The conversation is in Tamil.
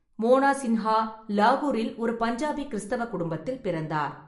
மோனா சிங்கா லாகூரில் ஒரு பஞ்சாபி கிறிஸ்தவ குடும்பத்தில் பிறந்தார்.